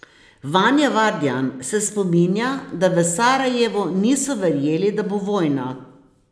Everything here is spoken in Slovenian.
Vanja Vardjan se spominja, da v Sarajevu niso verjeli, da bo vojna.